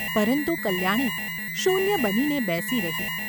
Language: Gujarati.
પરંતુ કલ્યાણી શૂન્ય બનીને બેસી રહી.